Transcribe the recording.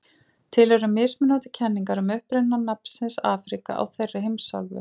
til eru mismunandi kenningar um uppruna nafnsins afríka á þeirri heimsálfu